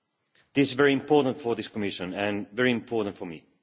It is very important for this Commission and very important for me.